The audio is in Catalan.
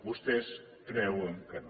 vostès creuen que no